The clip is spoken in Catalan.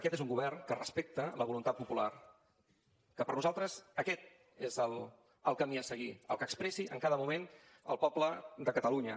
aquest és un govern que respecta la voluntat popular que per nosaltres aquest és el camí a seguir el que expressi en cada moment el poble de catalunya